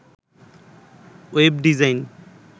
web design